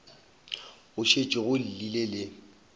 go šetše go llile le